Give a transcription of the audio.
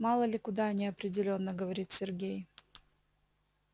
мало ли куда неопределённо говорит сергей